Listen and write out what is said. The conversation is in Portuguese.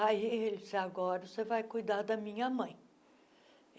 Aí ele, agora você vai cuidar da minha mãe.